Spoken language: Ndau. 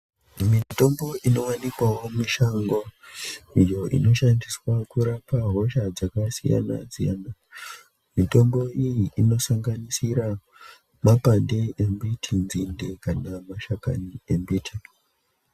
Mitombo inowanikwawo mushango iyo inoshandiswa kurapa hosha dzakasiyana-siyana. Mitombo iyi inosanganisira mapande embiti, nzinde kana mashakani embiti.